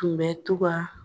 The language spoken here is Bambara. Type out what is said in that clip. kun bɛ to ka